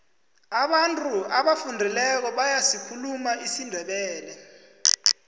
abantu abafundileko bayasikhuluma isindebele